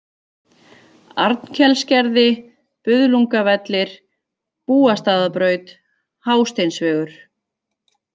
Arnkelsgerði, Buðlungavellir, Búastaðabraut, Hásteinsvegur